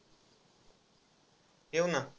येऊ ना.